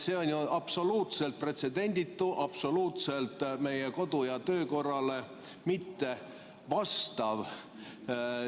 See on ju absoluutselt pretsedenditu, meie kodu- ja töökorrale mittevastav.